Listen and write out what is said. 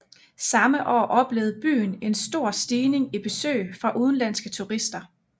Samme år oplevede byen en stor stigning i besøg fra udenlandske turister